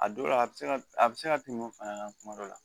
A dɔw la a bɛ se ka a bɛ se ka tɛmɛ o fana kan kuma dɔ la